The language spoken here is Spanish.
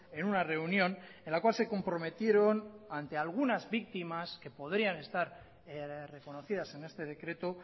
en una reunión en la cual se comprometieron ante algunas víctimas que podrían estar reconocidas en este decreto